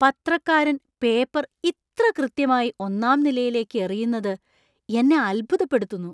പത്രക്കാരൻ paper ഇത്ര കൃത്യമായി ഒന്നാം നിലയിലേക്ക് എറിയുന്നത് എന്നെ അത്ഭുതപ്പെടുത്തുന്നു.